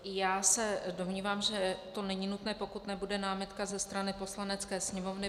Já se domnívám, že to není nutné, pokud nebude námitka ze strany Poslanecké sněmovny.